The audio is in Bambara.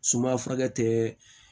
Suma furakɛ tɛ